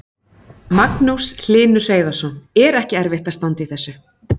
Magnús Hlynur Hreiðarsson: Er ekki erfitt að standa í þessu?